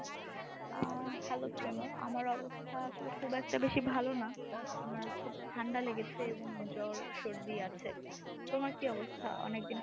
আহ hello Primo আমার অবস্থা আসলে খুব একটা বেশি ভালো না। আমার খুব ঠান্ডা লেগেছে এবং জ্বর সর্দি আছে। তোমার কী অবস্থা অনেকদিন পর